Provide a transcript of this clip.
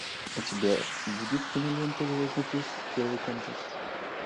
у тебя будет кинолента звездный путь первый контакт